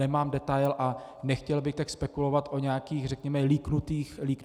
Nemám detail a nechtěl bych teď spekulovat o nějakých, řekněme, leaknutých mailech.